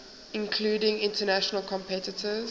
including international competitors